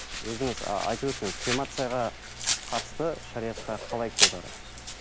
өзіңіз айтып өтсеңіз кремацияға қатысты шариғатта қалай көзқарас